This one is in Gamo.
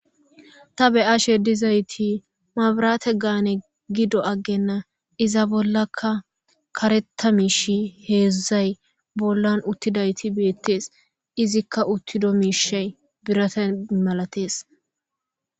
ta beyashe dizayti mabrate gaane gido aggenna iza bollakka karettamishi heedzdzay bollan uttidayti beettees izikka uttido miishay birate malatees